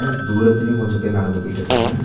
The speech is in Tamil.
அ தூரத்துலையு கொஞ்ச பேர் நடந்து போயிட்ருக்காங்க ப--